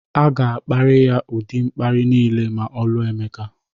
A ga-akparị ya ụdị mkparị niile ma ọ lụọ Emeka